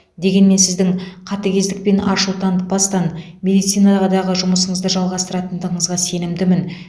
дегенмен сіздің қатігездік пен ашу танытпастан медицинадағы жұмысыңызды жалғастыратындығыңызға сенімдімін